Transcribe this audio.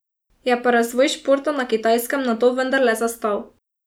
Je pa razvoj športa na Kitajskem nato vendarle zastal.